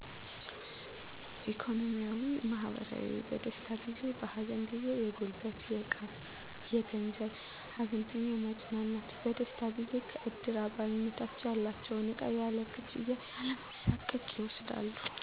ኢኮኖሚያዊ, ማህበራዊ, በደስታ ጊዜ በሀዘን ጊዜ የጉልበት የዕቃ የገንዘብ ሀዘንተኛውን ማፅናናት በደስታ ጊዜ ከእድር አባልነታቸው ያላቸውን ዕቃ ያለ ክፍያ ያለመሣቀቅ ይወስዳሉ